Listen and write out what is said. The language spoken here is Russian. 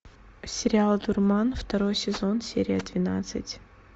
сериал дурман второй сезон серия двенадцать